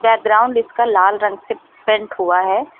Background इसका लाल रंग से पेंट हुआ है।